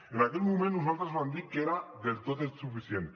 en aquell moment nosaltres vam dir que era del tot insuficient